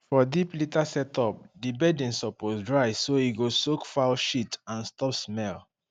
for deep litter setup di bedding suppose dry so e go soak fowl shit and stop smell